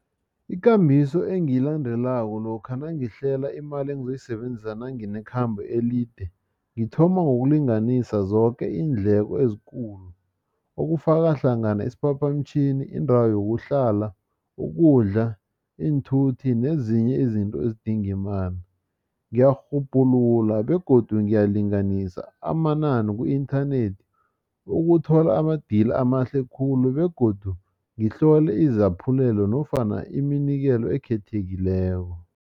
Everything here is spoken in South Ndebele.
Ikambiso engiyilandela lokha nangihlela imali engizoyibenzisa nanginekhambo elide ngithoma ngokulinganisa zoke iindleko ezikulu okufaka hlangana isiphaphamtjhini indawo yokuhlala ukudla iinthuthi nezinye izinto ezidinga imali. Ngiyarhubhulula begodu ngiyalinganisa amanani ku-inthanethi ukuthola ama-deal amahle khulu begodu ngihlole izaphulelo nofana iminikelo ekhethekileko.